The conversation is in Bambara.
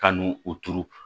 Ka n'u u turu